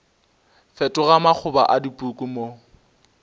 fetoga makgoba a dipuku mo